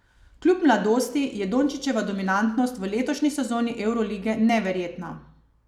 Kljub mladosti je Dončićeva dominantnost v letošnji sezoni evrolige neverjetna.